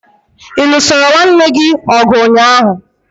Ị lụsoro nwanne gị ọgụ ụnyaahụ?